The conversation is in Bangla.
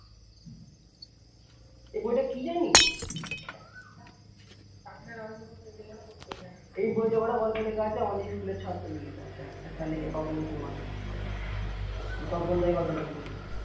এই বি টা কি জানিস? এই বই তা আমাদের school এর ছাত্র লিখেছে sir লিখেছে তপন কুমার তপন দা এই গল্প টা লিখেছে।